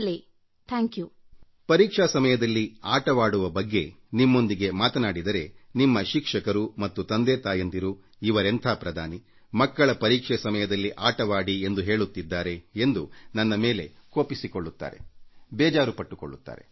ಪರೀಕ್ಷೆ ಸಮಯದಲ್ಲಿ ಆಟವಾಡುವ ಬಗ್ಗೆ ನಾನು ನಿಮ್ಮೊಂದಿಗೆ ಮಾತಾಡಿದರೆ ನಿಮ್ಮ ಶಿಕ್ಷಕರು ಮತ್ತು ತಂದೆತಾಯಂದಿರು ಇವರೆಂಥ ಪ್ರಧಾನಿ ಮಕ್ಕಳ ಪರೀಕ್ಷೆ ಸಮಯದಲ್ಲಿ ಆಟವಾಡಿ ಎಂದು ಹೇಳುತ್ತಿದ್ದಾರೆ ಎಂದು ನನ್ನ ಮೇಲೆ ಕೋಪಿಸಿಕೊಳ್ಳುತ್ತಾರೆ ಬೇಸರಪಟ್ಟುಕೊಳ್ಳುತ್ತಾರೆ